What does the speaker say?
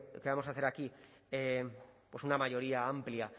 que vamos a hacer aquí pues una mayoría amplia